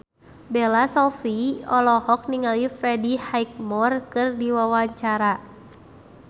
Bella Shofie olohok ningali Freddie Highmore keur diwawancara